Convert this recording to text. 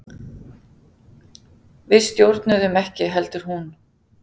Við stjórnuðum ekki heldur hún.